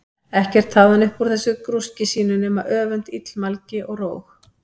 Ekkert hafði hann upp úr þessu grúski sínu nema öfund, illmælgi, og róg.